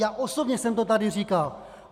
Já osobně jsem to tady říkal.